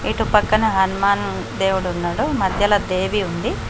ఇటు పక్కన హనుమాన్ దేవుడున్నాడు మధ్యలో దేవి ఉంది.